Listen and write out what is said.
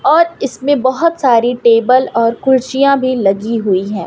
और इसमें बहोत सारी टेबल और कुर्सियां भी लगी हुई हैं।